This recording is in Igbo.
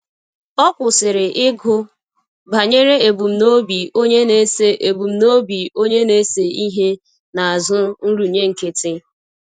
Ọ kwụsịrị ịgụ banyere ebumnobi onye na-ese ebumnobi onye na-ese ihe n'azụ nrụnye nkịtị